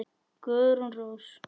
Guðrún Rós.